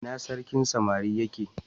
ina sarkin samari ya ke?